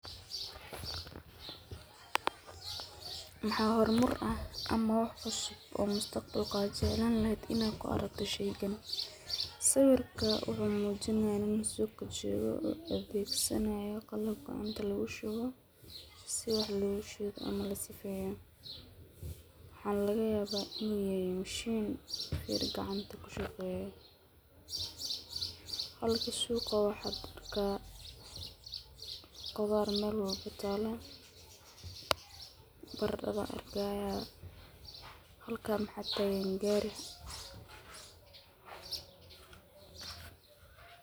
Maxa horumar ah ama wax cusub oo mustaqbalka oo aad Jeclaan lahayd inaad kuarakto sheygan, sawirka wuxu mujinaya nin suqaa jogoo oo adegsano gool gacanta lagushuwo, sii wax logushido ama logusifeyo, waxa lagayaba in mishiin gacanta kushageyo, halka suga waxa arka qudar mel walba taloo, baradadhan arkaya, halka waxa tagan gari.